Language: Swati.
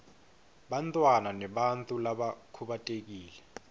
bantfwana nebantfu labakhubatekile